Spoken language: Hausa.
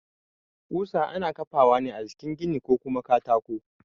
Ƙusa ana ƙafawa ne a jikin gini ko kuma katako